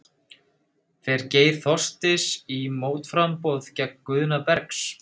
Fer Geir Þorsteins í mótframboð gegn Guðna Bergs?